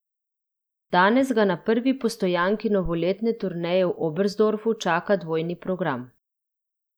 Danes ga na prvi postojanki novoletne turneje v Oberstdorfu čaka dvojni program.